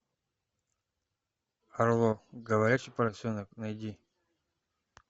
арло говорящий поросенок найди